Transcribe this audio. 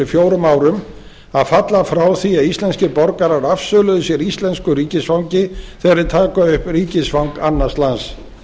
fjórum árum að falla frá því að íslenskir borgarar afsöluðu sér íslensku ríkisfangi þegar þeir taka upp ríkisfang annars lands